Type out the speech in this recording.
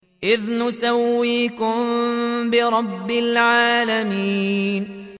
إِذْ نُسَوِّيكُم بِرَبِّ الْعَالَمِينَ